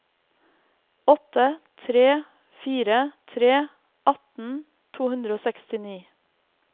åtte tre fire tre atten to hundre og sekstini